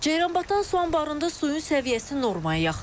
Ceyranbatan su anbarında suyun səviyyəsi normaya yaxındır.